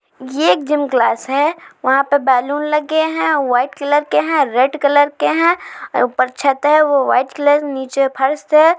एक gym class है वहां पे बल्लोंन लगे है वाइट कलर के है। रेड कलर का है। ऊपर छत है वो वाइट है नीचे फर्श है।